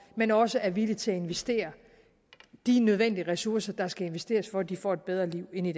men også er villige til at investere de nødvendige ressourcer der skal investeres for at de får et bedre liv end i